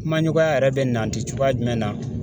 Kumaɲɔgɔnya yɛrɛ bɛ nanti cogoya jumɛn na